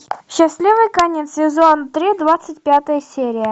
счастливый конец сезон три двадцать пятая серия